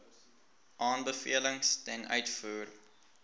aanbevelings ten uitvoer